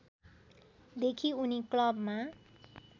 देखि उनी क्लबमा